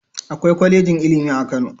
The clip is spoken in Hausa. Akwai kwalejin ilimi a Kano?